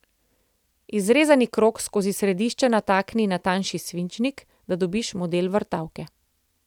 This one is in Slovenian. Izrezani krog skozi središče natakni na tanjši svinčnik, da dobiš model vrtavke.